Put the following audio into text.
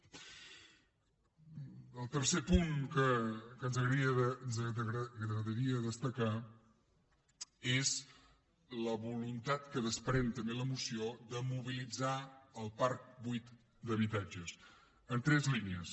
el tercer punt que ens agradaria destacar és la voluntat que desprèn també la moció de mobilitzar el parc buit d’habitatges en tres línies